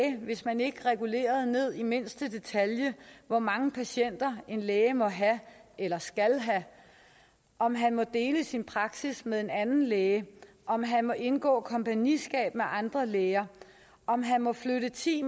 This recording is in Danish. hvis man ikke regulerede ned i mindste detalje hvor mange patienter en læge må have eller skal have om han må dele sin praksis med en anden læge om han må indgå kompagniskab med andre læger om han må flytte ti